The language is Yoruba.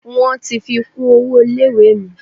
Wọ́n ti fi kún owó ilé ìwé mi.